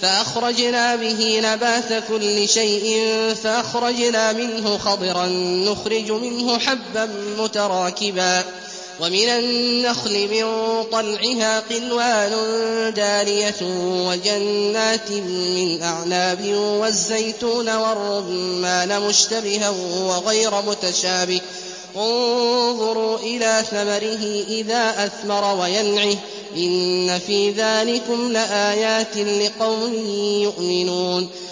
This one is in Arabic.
فَأَخْرَجْنَا بِهِ نَبَاتَ كُلِّ شَيْءٍ فَأَخْرَجْنَا مِنْهُ خَضِرًا نُّخْرِجُ مِنْهُ حَبًّا مُّتَرَاكِبًا وَمِنَ النَّخْلِ مِن طَلْعِهَا قِنْوَانٌ دَانِيَةٌ وَجَنَّاتٍ مِّنْ أَعْنَابٍ وَالزَّيْتُونَ وَالرُّمَّانَ مُشْتَبِهًا وَغَيْرَ مُتَشَابِهٍ ۗ انظُرُوا إِلَىٰ ثَمَرِهِ إِذَا أَثْمَرَ وَيَنْعِهِ ۚ إِنَّ فِي ذَٰلِكُمْ لَآيَاتٍ لِّقَوْمٍ يُؤْمِنُونَ